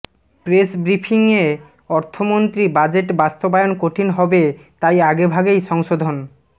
প্রেসব্রিফিংয়ে অর্থমন্ত্রী বাজেট বাস্তবায়ন কঠিন হবে তাই আগেভাগেই সংশোধন